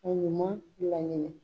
Ka ɲuman bila